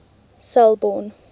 selborne